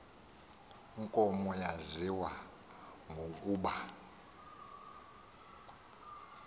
nkomo yaziwa ngokuba